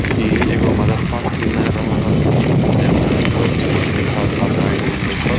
इ एगो मदरसा के सीन नजर आव रहल छै जेई में सब मुस्लिम छात्र-छात्राएं छथिन बैठल।